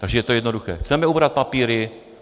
Takže to je jednoduché - chceme ubrat papíry.